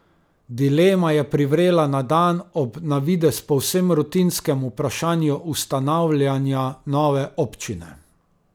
Dilema je privrela na dan ob na videz povsem rutinskem vprašanju ustanavljanja nove občine.